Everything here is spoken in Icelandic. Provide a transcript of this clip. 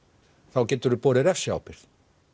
þá geturu borið refsiábyrgð